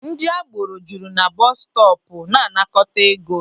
Ndị agboro juru na bọọsụ stọọpụ na-anakọta ego.